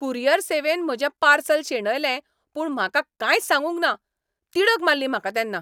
Courier सेवेन म्हजें parcel शेणयलें पूण म्हाका कांयच सांगुंक ना. तिडक मारली म्हाका तेन्ना.